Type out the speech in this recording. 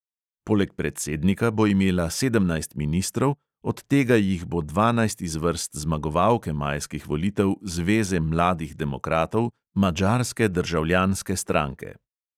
Poleg predsednika bo imela sedemnajst ministrov, od tega jih bo dvanajst iz vrst zmagovalke majskih volitev zveze mladih demokratov – madžarske državljanske stranke.